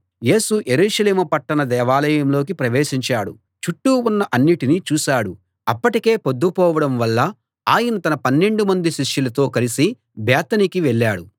యేసు యెరూషలేము పట్టణ దేవాలయంలోకి ప్రవేశించాడు చుట్టూ ఉన్న అన్నిటినీ చూశాడు అప్పటికే పొద్దుపోవడం వల్ల ఆయన తన పన్నెండు మంది శిష్యులతో కలిసి బేతనీకి వెళ్ళాడు